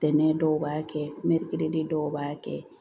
Ntɛnɛn dɔw b'a kɛ dɔw b'a kɛ